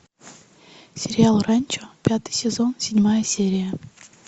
сериал ранчо пятый сезон седьмая серия